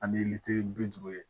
Ani litiri bi duuru ye